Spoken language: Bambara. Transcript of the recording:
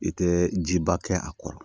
I tɛ jiba kɛ a kɔrɔ